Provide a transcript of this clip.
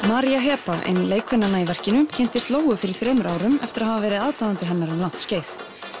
María Heba ein lekkvennanna í verkinu kynntist Lóu fyrir þremur árum eftir að hafa verið aðdáandi hennar um langt skeið